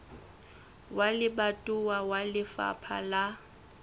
wa lebatowa wa lefapha la